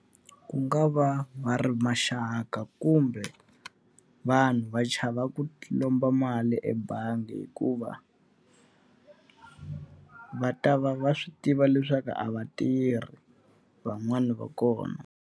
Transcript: Ku nga va va ri maxaka kumbe, vanhu va chava ku lomba mali ebangi hikuva va ta va va swi tiva leswaku a va tirhi, van'wani va kona.